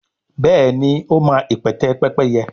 béèni o ma ipẹtẹ Pẹ́pẹ́yẹ.